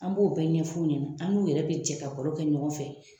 An b'o bɛɛ ɲɛfu ɲɛna, an n'u yɛrɛ be jɛ ka baro kɛ ɲɔgɔn fɛ.